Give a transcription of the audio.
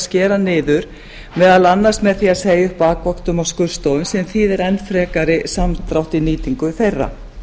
skera niður meðal annars með því að segja upp bakvöktum á skurðstofum sem þýðir enn frekari samdrátt í nýtingu þeirra